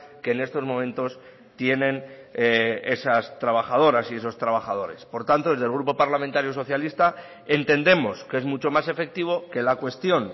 que en estos momentos tienen esas trabajadoras y esos trabajadores por tanto desde el grupo parlamentario socialista entendemos que es mucho más efectivo que la cuestión